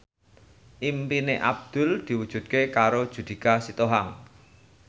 impine Abdul diwujudke karo Judika Sitohang